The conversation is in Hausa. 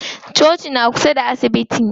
Cocin na kusa da asibiti.